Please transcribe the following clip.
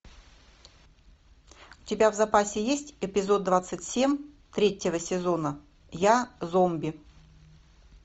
у тебя в запасе есть эпизод двадцать семь третьего сезона я зомби